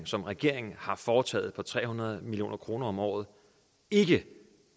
som regeringen har foretaget på tre hundrede million kroner om året ikke